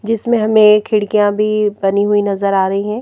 जिसमें हमें खिड़कियां भी बनी हुई नजर आ रही हैं।